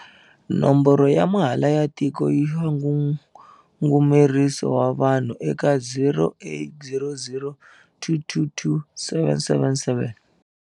Nomboro ya mahala ya Tiko ya Ngungumeriso wa Vanhu eka- 0800 222 777.